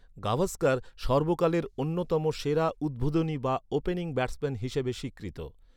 গাভাস্কার সর্বকালের অন্যতম সেরা উদ্বোধনী বা ওপেনিং ব্যাটসম্যান হিসেবে স্বীকৃত।